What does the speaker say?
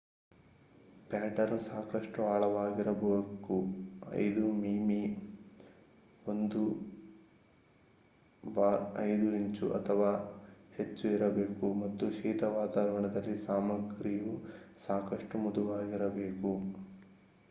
pattern ಸಾಕಷ್ಟು ಆಳವಾಗಿರಬೇಕು 5 ಮಿ.ಮೀ 1/5 ಇಂಚು ಅಥವಾ ಹೆಚ್ಚು ಇರಬೇಕು ಮತ್ತು ಶೀತ ವಾತಾವರಣದಲ್ಲಿ ಸಾಮಗ್ರಿಯು ಸಾಕಷ್ಟು ಮೃದುವಾಗಿರಬೇಕು